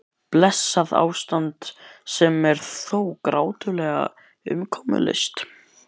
Blessað ástand sem er þó grátlega umkomulaust.